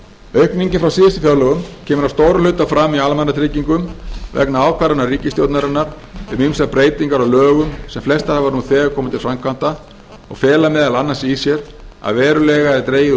aukningin frá síðustu fjárlögum kemur að stórum hluta fram í almannatryggingum vegna ákvarðana ríkisstjórnarinnar um ýmsar breytingar á lögum sem flestar hafa nú þegar komið til framkvæmda og fela meðal annars í sér að verulega er dregið úr